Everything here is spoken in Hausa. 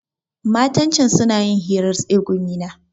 Matan can suna yin hirar tsegumi ne.